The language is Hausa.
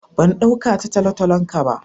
Ban dauka ta talotalon ka ba.